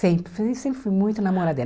Sempre, sempre fui muito namoradeira.